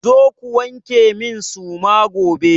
Zo ku wanke min suma gobe!